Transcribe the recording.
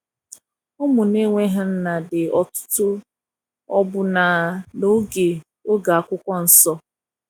ụmụ na enweghi nna di ọtụtụ ọbụ na na oge oge akwụkwọ nsọ